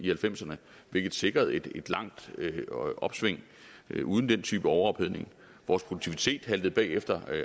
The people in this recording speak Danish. halvfemserne hvilket sikrede et langt opsving uden den type overophedning vores produktivitet haltede bag efter